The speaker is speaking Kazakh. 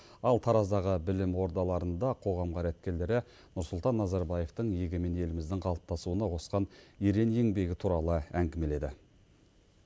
ал тараздағы білім ордаларында қоғам қайраткерлері нұрсұлтан назарбаевтың егемен еліміздің қалыптасуына қосқан ерен еңбегі туралы әңгімеледі